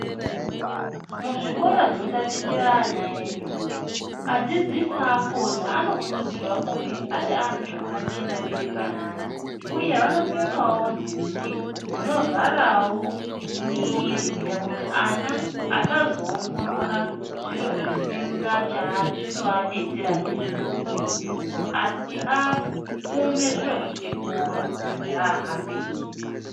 Muzvikora zvinotatichire ana edu adzidzisi akhona anokurudzirwa kunge ari antu akachena mberi kweana uye vanopfekawo nhumbi dzinovharawo mwiri kuti ana asazoongorora zviro zvisina chazvinovadetsera ndizvo muupenyu asi afunge zviro zvechikora chahambira.